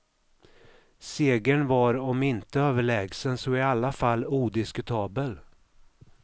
Segern var om inte överlägsen så i alla fall odiskutabel.